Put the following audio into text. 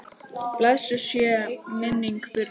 Blessuð sé minning Birnu.